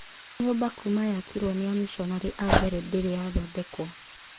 Nyũmba Kuma yakirwo nĩamishonarĩ ambere ndĩrĩ yathondekwo